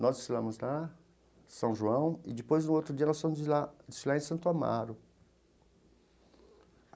Nós desfilamos lá, em São João, e depois, no outro dia, nós fomos desfilar em Santo Amaro.